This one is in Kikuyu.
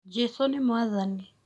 Jesũ nĩ mwathani